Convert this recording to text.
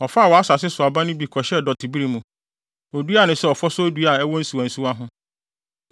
“ ‘Ɔfaa wʼasase so aba no bi kɔhyɛɛ dɔtebere mu. Oduaa no sɛ ɔfɔsɔw dua a ɛwɔ nsuwansuwa ho,